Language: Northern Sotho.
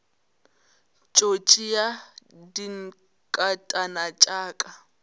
tšo tšea dinkatana tša ka